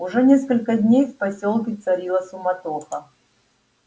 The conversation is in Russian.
уже несколько дней в посёлке царила суматоха